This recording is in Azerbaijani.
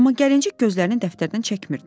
Amma gəlincik gözlərini dəftərdən çəkmirdi.